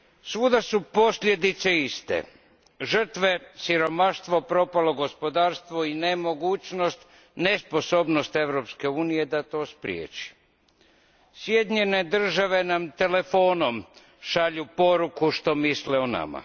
Svuda su posljedice iste, žrtve, siromaštvo, propalo gospodarstvo i nemogućnost, nesposobnost Europske unije da to spriječi. Sjedinjene Države nam telefonom šalju poruku što misle o nama.